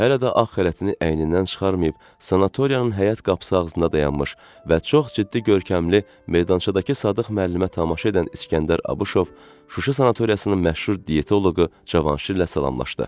Hələ də ağ xələtini əynindən çıxarmayıb sanatoriyanın həyət qapısı ağzında dayanmış və çox ciddi görkəmli meydançadakı Sadıq müəllimə tamaşa edən İsgəndər Abışov Şuşa sanatoriyasının məşhur dietoloqu Cavanşirlə salamlaşdı.